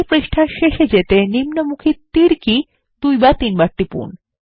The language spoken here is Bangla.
এই পৃষ্ঠার শেষে যেতে নিম্নমুখী তীর কী দুই বা তিন বার টিপুন